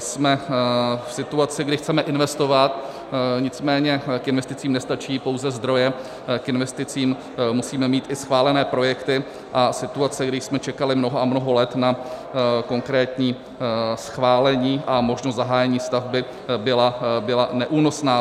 Jsme v situaci, kdy chceme investovat, nicméně k investicím nestačí pouze zdroje, k investicím musíme mít i schválené projekty, a situace, kdy jsme čekali mnoho a mnoho let na konkrétní schválení a možnost zahájení stavby, byla neúnosná.